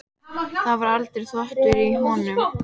Það var aldrei þvottur í honum.